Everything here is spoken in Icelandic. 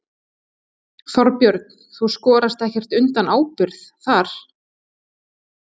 Þorbjörn: Þú skorast ekkert undan ábyrgð þar?